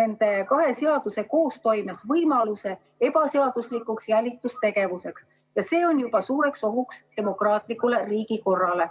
nende kahe seaduse koostoimes võimaluse ebaseaduslikuks jälitustegevuseks ja see on juba suur oht demokraatlikule riigikorrale.